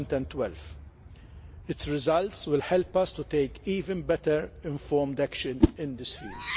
2012. Its results will help us to take even better informed action in this field.